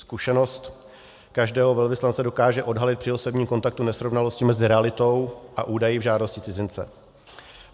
Zkušenost každého velvyslance dokáže odhalit při osobním kontaktu nesrovnalosti mezi realitou a údaji v žádosti cizince.